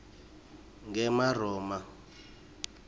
ngemaroma